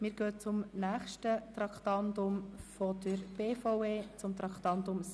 Wir kommen zum nächsten die BVE betreffenden Traktandum.